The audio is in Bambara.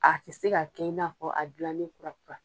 A tɛ se ka kɛ i n'a fɔ a dilannen kura kura.